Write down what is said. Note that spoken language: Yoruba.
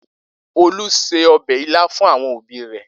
Olu se ọbẹ̀ ilá fún àwọn òbí rẹ̀.